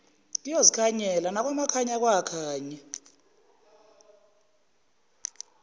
kuyozikhanyela nakwamakhanya kwakhanya